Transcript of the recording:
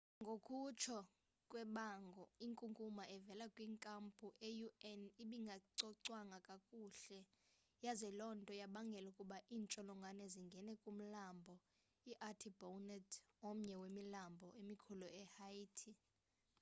ngokutsho kwebango inkunkuma evela kwinkampu ye-un ibingacocwanga kakuhle yaze loo nto yabangela ukuba iintsholongwane zingene kumlambo i-artibonite omnye wemilambo emikhulu ehaiti